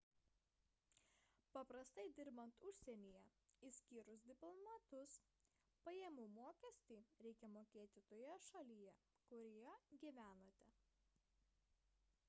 paprastai dirbant užsienyje išskyrus diplomatus pajamų mokestį reikia mokėti toje šalyje kurioje gyvenate